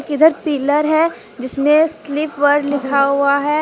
इधर पिलर हैं जिसमें स्लिपवेल लिखा हुआ हैं।